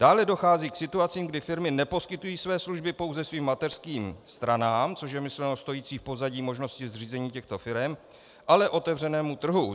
Dále dochází k situacím, kdy firmy neposkytují své služby pouze svým mateřským stranám, což je myšleno stojící v pozadí možnosti zřízení těchto firem, ale otevřenému trhu.